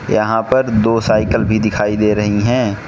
यहां पर दो साइकल भी दिखाई दे रही हैं।